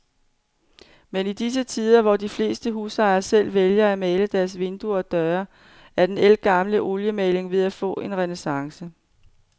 Men i disse tider, hvor de fleste husejere selv vælger at male deres vinduer og døre, er den ældgamle oliemaling ved at få en renæssance.